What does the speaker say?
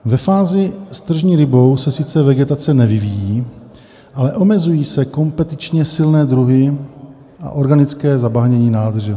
Ve fázi s tržní rybou se sice vegetace nevyvíjí, ale omezují se kompetičně silné druhy a organické zabahnění nádrže.